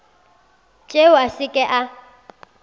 tšeo a se ke a